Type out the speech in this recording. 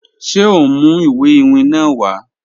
Ṣe o n mu iwe iwin naa wa?